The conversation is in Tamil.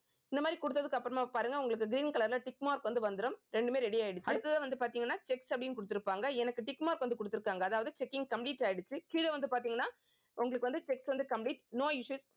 இந்த மாதிரி குடுத்ததுக்கு அப்புறமா பாருங்க, உங்களுக்கு green colour ல tick mark வந்து வந்திரும். ரெண்டுமே ready ஆயிடுச்சு. அடுத்ததா வந்து பாத்தீங்கன்னா checks அப்படின்னு கொடுத்திருப்பாங்க எனக்கு tick mark வந்து கொடுத்திருக்காங்க அதாவது checking complete ஆயிடுச்சு கீழே வந்து பார்த்தீங்கன்னா உங்களுக்கு வந்து check வந்து complete no issues